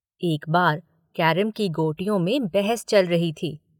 एक बार कैरम की गोटियों में बहस चल रही थी।